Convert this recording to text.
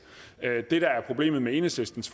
det der er problemet med enhedslistens